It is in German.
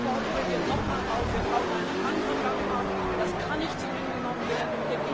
Ich fordere hier nochmal auf Wir brauchen eine andere Gangart, das kann nicht so hingenommen werden!